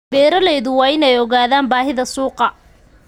Beeraleydu waa inay ogaadaan baahida suuqa.